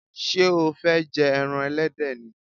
Sé o fé je eran elédè ni?